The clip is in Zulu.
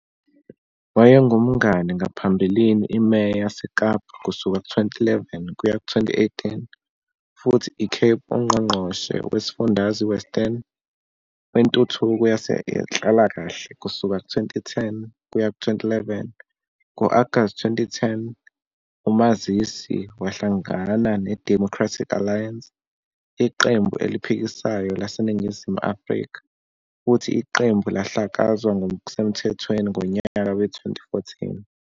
Wayengumngane ngaphambilini iMeya yaseKapa kusuka 2011 kuya 2018, futhi Cape uNgqongqoshe wesifundazwe Western weNtuthuko yezeNhlalakahle kusuka 2010 kuya 2011. Ngo-Agasti 2010, umazisi wahlangana neDemocratic Alliance, iqembu eliphikisayo laseNingizimu Afrika, futhi iqembu lahlakazwa ngokusemthethweni ngonyaka we-2014.